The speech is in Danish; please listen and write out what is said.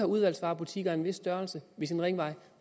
udvalgsvarebutikker af en vis størrelse ved sin ringvej